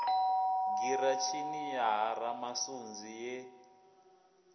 giratshini ya ha ramasunzi ye